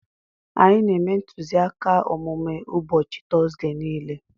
Anyị na-eme ntụziaka omume ụbọchị Tọzdee niile.